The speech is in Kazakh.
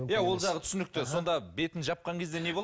ол жағы түсінікті сонда бетін жапқан кезде не